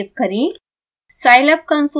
इस file को save करें